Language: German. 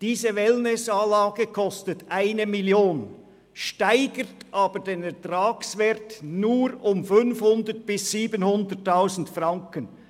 Diese Wellnessanlage kostet 1 Mio. Franken, steigert aber den Ertragswert nur um 500 000 bis 700 000 Franken.